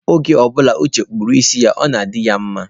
Oge ọ bụla Uche na-akpụ isi ya, ọ na-adị ya mma.